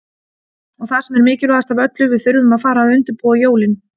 Og það sem er mikilvægast af öllu, við þurfum að fara að undirbúa jólin.